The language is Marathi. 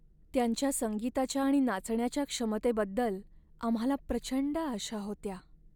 त्यांच्या संगीताच्या आणि नाचण्याच्या क्षमतेबद्दल आम्हाला प्रचंड आशा होत्या.